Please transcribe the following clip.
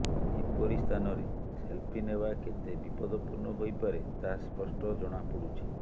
ଏପରି ସ୍ଥାନରେ ସେଲଫି ନେବା କେତେ ବିପଦପୂର୍ଣ୍ଣ ହୋଇପାରେ ତାହା ସ୍ପଷ୍ଟ ଜଣାପଡ଼ୁଛି